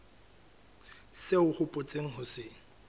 seo o hopotseng ho se